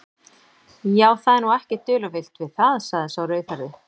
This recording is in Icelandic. Já, það er nú ekkert dularfullt við það, sagði sá rauðhærði.